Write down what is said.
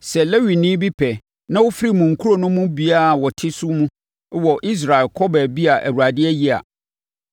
Sɛ Lewini bi pɛ na ɔfiri mo nkuro no mu biara a ɔte so mu wɔ Israel kɔ baabi a Awurade ayi a,